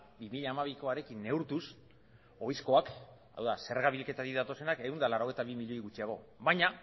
bi mila hamabikoarekin neurtuz ohizkoak hau da zerga bilketatik datozenak ehun eta laurogeita bi milioi gutxiago baina